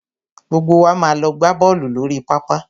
Gbogbo wa máa lọ gbá bọ́ọ̀lù lórí pápá.